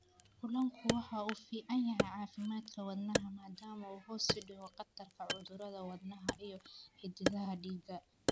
Kalluunku waxa uu u fiican yahay caafimaadka wadnaha maadaama uu hoos u dhigo khatarta cudurrada wadnaha iyo xididdada dhiigga.